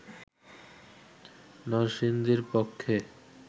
নরসিংদীর পক্ষে